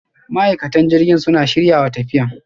ma'aikatan jiragen suna shiryawa tafiyan.